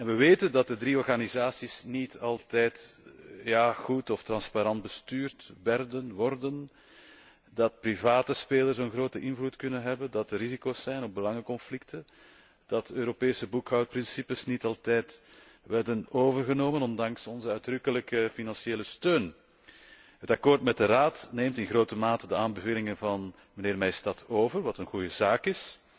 We weten dat de drie organisaties niet altijd goed of transparant bestuurd werden, worden, dat private spelers een grote invloed kunnen hebben, dat er risico's zijn op belangenconflicten, dat Europese boekhoudprincipes niet altijd werden overgenomen ondanks onze uitdrukkelijke financiële steun. Het akkoord met de Raad neemt in grote mate de aanbevelingen van de heer Maystadt over wat een goede zaak